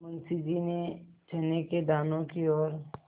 मुंशी जी ने चने के दानों की ओर